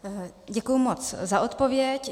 Děkuju moc za odpověď.